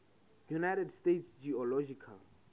united states geological